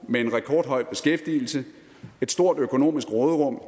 med en rekordhøj beskæftigelse et stort økonomisk råderum